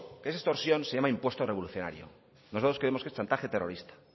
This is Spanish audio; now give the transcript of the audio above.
esa extorsión se llama impuesto revolucionario nosotros creemos que es chantaje terrorista